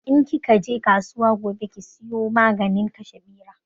In ki ka je kasuwa gobe ki sayo maganin kashe Ɓera